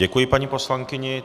Děkuji paní poslankyni.